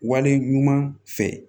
Wale ɲuman fɛ